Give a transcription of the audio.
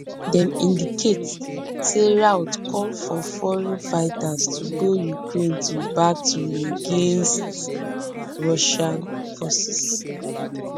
dem indicate say routh call for foreign fighters to go to ukraine to battle against russian forces